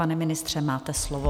Pane ministře, máte slovo.